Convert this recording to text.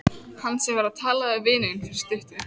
Hann sem var að tala við vininn fyrir stuttu.